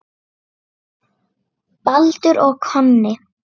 Baldur og Konni